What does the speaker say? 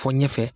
Fɔ ɲɛfɛ